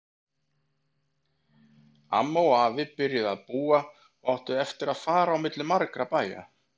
Amma og afi byrjuðu að búa og áttu eftir að fara á milli margra bæja.